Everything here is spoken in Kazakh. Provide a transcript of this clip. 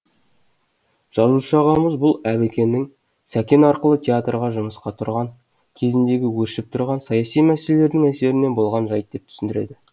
жазушы ағамыз бұл әбікеннің сәкен арқылы театрға жұмысқа тұрған кезіндегі өршіп тұрған саяси мәселелердің әсерінен болған жайт деп түсіндіреді